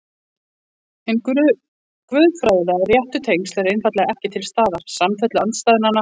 Hin guðfræðilega réttu tengsl eru einfaldlega ekki til staðar, samfellu andstæðnanna vantar.